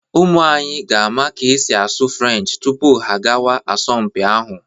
Ụmụ anyị ga-ama ka e si asụ Frenchị tupu ha agawa asọmpi ahụ.